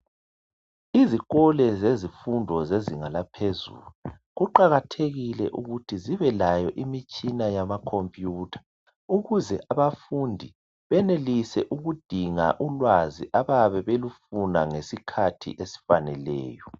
Izikolo zezifundo zezinga laphezulu, kuqakathekile ukuthi zibe layo imitshina yamakhompiyutha ukuze abafundi benelise ukudinga ulwazi abayabe belufuna ngesikhathi esifaneleyo.